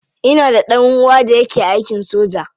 Ina da dan uwa da yake aikin soja.